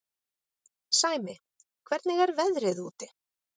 Sæmi, hvernig er veðrið úti?